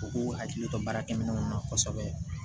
U k'u hakili to baarakɛminɛnw na kosɛbɛ